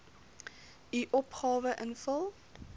u opgawe invul